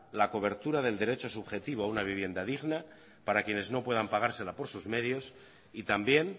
la cobertura del derecho subjetivo a una vivienda digna para quienes no puedan pagársela por sus medios y también